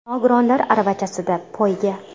Nogironlar aravachasida poyga.